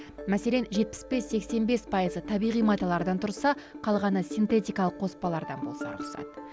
мәселен жетпіс бес сексен бес пайызы табиғи маталардан тұрса қалғаны синтетикалық қоспалардан болса рұқсат